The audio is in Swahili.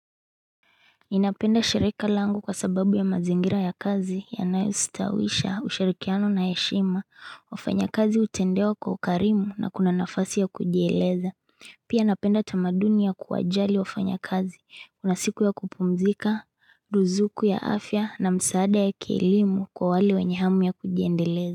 Ninapenda shirika langu kwa sababu ya mazingira ya kazi yanayositawisha, ushirikiano na heshima, wafanyakazi hutendewa kwa ukarimu na kuna nafasi ya kujieleza. Pia napenda tamaduni ya kuwajali wafanyakazi, kuna siku ya kupumzika, duzuku ya afya na msaada ya kielimu kwa wale wenye hamu ya kujieleza.